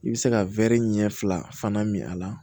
I bɛ se ka ɲɛ fila fana min a la